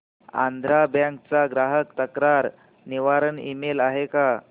Andhra bank चा ग्राहक तक्रार निवारण ईमेल आहे का